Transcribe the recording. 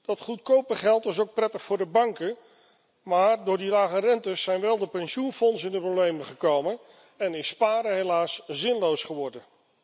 Dat goedkope geld is ook prettig voor de banken, maar door die lage rentes zijn wel de pensioenfondsen in de problemen gekomen en is sparen helaas zinloos geworden.